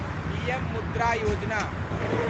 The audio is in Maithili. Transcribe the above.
पीएम मुद्रा योजना